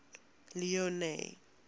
leone